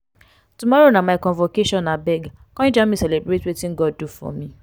tomorrow na my convocation abeg come join me celebrate wetin god do for me.